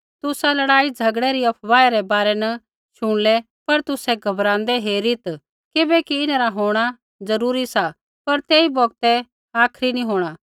तुसा लड़ाईझ़गड़ै री अफवाहै रै बारै न शुणलै पर तुसै घबराँदै हेरीत् किबैकि इन्हरा होंणा ज़रूरी सा पर तेई बौगतै आखरी नी होंणा